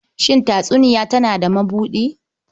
Shin tatsuniya tana da mabuɗi?